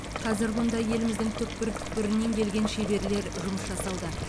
қазір мұнда еліміздің түкпір түкпірінен келген шеберлер жұмыс жасауда